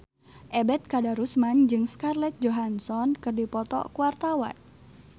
Ebet Kadarusman jeung Scarlett Johansson keur dipoto ku wartawan